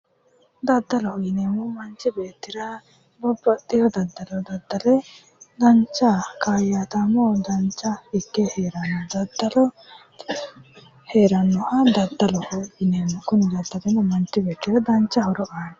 Daddaloho yineemmo woyite manchi beettira babbaxxiwo daddalo daddale dancha kaayyataamo dancha ikke heeranno. Daddalo heerannoha daddaloho yineemmo. Kuni daddalino manchi beettira lowo horo aanno.